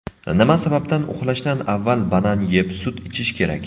Nima sababdan uxlashdan avval banan yeb, sut ichish kerak?.